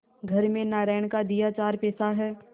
घर में नारायण का दिया चार पैसा है